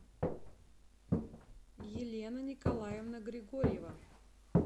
елена николаевна григорьева